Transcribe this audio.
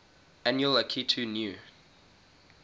annual akitu new